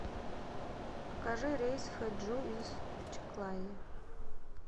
покажи рейс в хэджу из чиклайо